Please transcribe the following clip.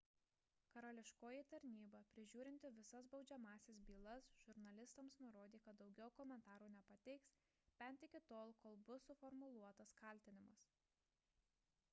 karališkoji tarnyba prižiūrinti visas baudžiamąsias bylas žurnalistams nurodė kad daugiau komentarų nepateiks bent iki tol kol bus suformuluotas kaltinimas